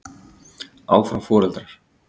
Áfram foreldrar.